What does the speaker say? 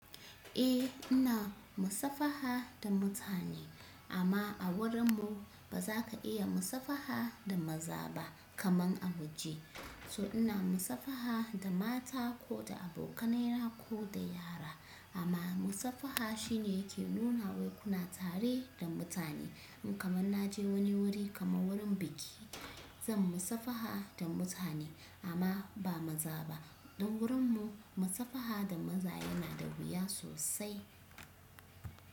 Eh ina musafaha da mutane, amma a wurin mu, ba zaka iya musafaha da maza ba, kamar a waje. So ina musafaha da mata ko da abokanai na ko da yara. Amma musafaha shine yake nuna wai kuna tare da mutane. In kamar naje wani wuri, kamar wurin biki, zan musafaha da mutane amma ba maza ba. Don wurin mu, musafaha da maza yana da wuya sosai.